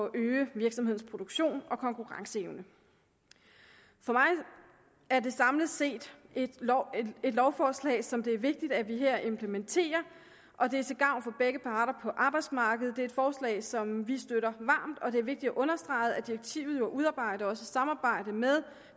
at øge virksomhedens produktion og konkurrenceevne for mig er det samlet set et lovforslag som det er vigtigt at vi her implementerer og det er til gavn for begge parter på arbejdsmarkedet det er et forslag som vi støtter varmt og det er vigtigt at understrege at direktivet er udarbejdet i samarbejde med